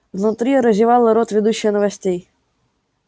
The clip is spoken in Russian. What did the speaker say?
внутри разевала рот ведущая новостей